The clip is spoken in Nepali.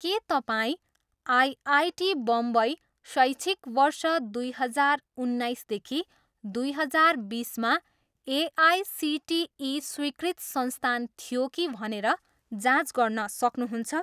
के तपाईँँ आइआइटी बम्बई शैक्षिक वर्ष दुई हजार उन्नाइसदेखि दुई हजार बिसमा एआइसिटिई स्वीकृत संस्थान थियो कि भनेर जाँच गर्न सक्नुहुन्छ?